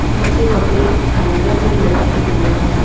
नीचे कपड़े हॅंगर मे लटके हुए है।